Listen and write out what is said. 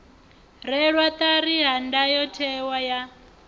rwelwa ṱari ha ndayotewa ya